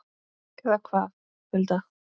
Eða hvað, Hulda?